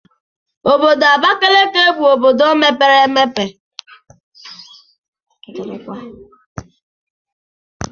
Obodo Abakaliki bụ obodo mepere emepe.